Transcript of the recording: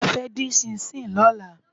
Bose fè din ṣìnṣín lòlá